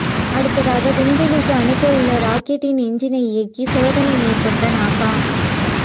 அடுத்ததாக விண்வெளிக்கு அனுப்ப உள்ள ராக்கெட்டின் எஞ்சினை இயக்கி சோதனை மேற்கொண்ட நாசா